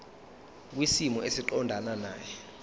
kwisimo esiqondena nawe